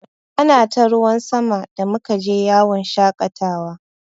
Ana ta ruwan sama da muka je yawon shaƙatawa.